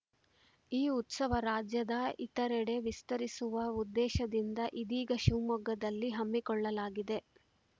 ಈ ಉತ್ಸವ ರಾಜ್ಯದ ಇತರೆಡೆ ವಿಸ್ತರಿಸುವ ಉದ್ದೇಶದಿಂದ ಇದೀಗ ಶಿವಮೊಗ್ಗದಲ್ಲಿ ಹಮ್ಮಿಕೊಳ್ಳಲಾಗಿದೆ